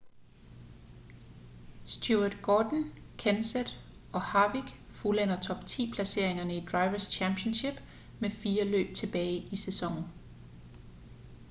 stewart gordon kenseth og harvick fuldender top-ti placeringerne i drivers' championship med fire løb tilbage i sæsonen